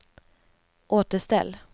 återställ